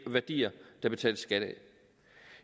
værdier der betales skat af